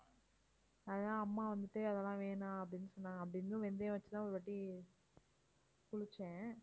அதான் அம்மா வந்துட்டு அதெல்லாம் வேணாம் அப்படின்னு சொன்னாங்க அப்படி இருந்தும் வெந்தயம் வச்சு தான் ஒருவாட்டி குளிச்சேன்